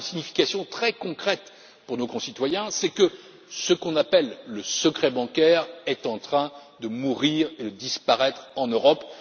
Cela a une signification très concrète pour nos concitoyens, c'est que ce qu'on appelle le secret bancaire est en train de mourir et de disparaître en Europe